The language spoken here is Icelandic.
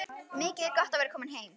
Mikið er gott að vera komin heim!